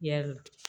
Yarɔ